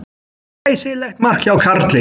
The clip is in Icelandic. Glæsilegt mark hjá Karli.